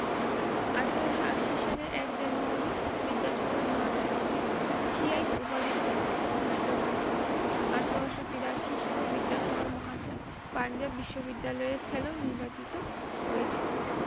আঠারোশো আশি সালের এক januyari বিদ্যাসাগর মহাসয়কে সিয়াইট উপাধিতে ভূষিত করা হয়। আঠারোশো বিরাশি সালে বিদ্যাসাগর মহাসয় পাঞ্জাব বিশ্ববিদ্যালয়ের salon নির্বাচিত হয়েছিলেন।